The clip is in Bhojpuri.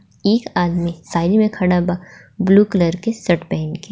एक आदमी साइड मे खड़ा बा ब्लू कलर के सर्ट पहिन के.